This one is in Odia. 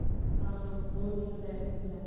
ହୁ ବହୁତ ହି ମଜା ଆସିଥିଲା